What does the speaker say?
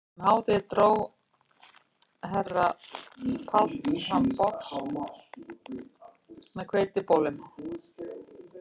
Um hádegið dró herra Páll fram box með hveitibollum